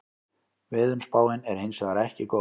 Veðurspáin er hins vegar ekki góð